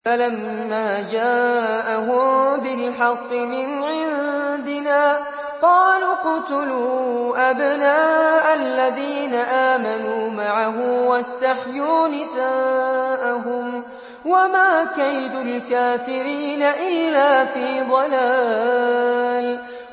فَلَمَّا جَاءَهُم بِالْحَقِّ مِنْ عِندِنَا قَالُوا اقْتُلُوا أَبْنَاءَ الَّذِينَ آمَنُوا مَعَهُ وَاسْتَحْيُوا نِسَاءَهُمْ ۚ وَمَا كَيْدُ الْكَافِرِينَ إِلَّا فِي ضَلَالٍ